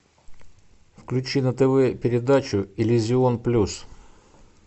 включи на тв передачу иллюзион плюс